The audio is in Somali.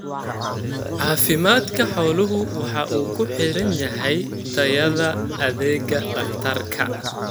Caafimaadka xooluhu waxa uu ku xidhan yahay tayada adeega dhakhtarka.